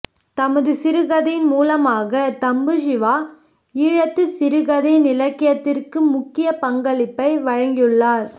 தமது சிறுகதைகளின் மூலமாக தம்பு சிவா ஈழத்து சிறுகதை இலக்கியத்திற்கு முக்கிய பங்களிப்பை வழங்கியுள்ளார்